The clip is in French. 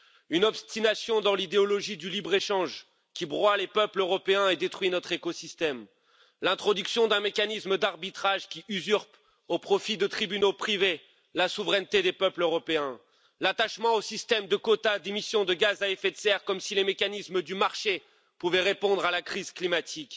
Une obstination dans l'idéologie du libre échange qui broie les peuples européens et détruit notre écosystème, l'introduction d'un mécanisme d'arbitrage qui usurpe au profit de tribunaux privés la souveraineté des peuples européens, l'attachement au système de quotas d'émissions de gaz à effet de serre comme si les mécanismes du marché pouvaient répondre à la crise climatique